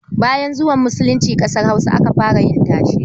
Bayan zuwan musulunci ƙasar Hausa aka fara yin tashe.